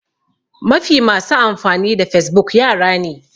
Mafi yawan masu amfani da facebook yara ne